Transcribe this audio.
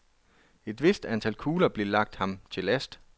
Et vist antal kugler blev lagt ham til last.